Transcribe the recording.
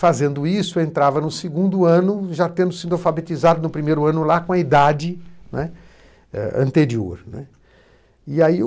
Fazendo isso, eu entrava no segundo ano, já tendo sido alfabetizado no primeiro ano com a idade, né, anterior, né.